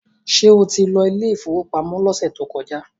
Ṣé o ti lọ ilé ìfowópamọ́ lọ́sẹ̀ tó kọjá?